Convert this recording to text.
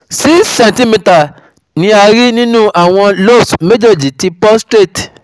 six centimetre ni a rí nínú àwọn lobes mejeji ti prostate